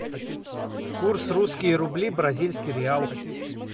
курс русские рубли бразильский реал